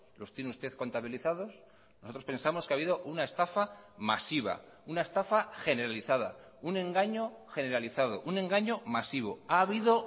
los tiene usted contabilizados nosotros pensamos que ha habido una estafa masiva una estafa generalizada un engaño generalizado un engaño masivo ha habido